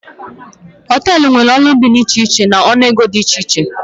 Hoteelu nwéré ụlọ ndina dị iche iche n'ọnụ ego dị iche iche